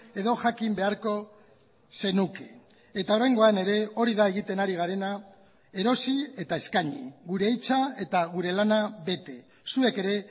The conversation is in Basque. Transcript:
edo jakin beharko zenuke eta oraingoan ere hori da egiten ari garena erosi eta eskaini gure hitza eta gure lana bete zuek ere